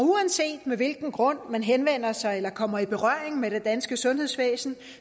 uanset med hvilken grund man henvender sig eller kommer i berøring med det danske sundhedsvæsen